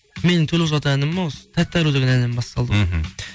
менің төл құжат әнім осы тәтті ару деген әннен басталды ғой мхм